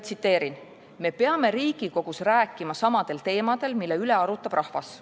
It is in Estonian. Tsiteerin: "Me peame Riigikogus rääkima samadel teemadel, mille üle arutab rahvas.